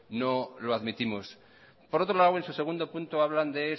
no lo admitimos por otro lado en su segundo punto hablan de